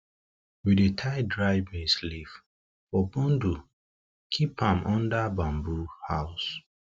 we dey tie dry maize leaf for bundle keep am under bamboo house